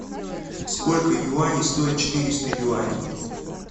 сколько юаней стоит четыреста юаней